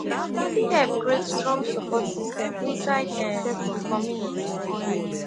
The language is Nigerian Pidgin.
e fit help create strong sopport system inside um di community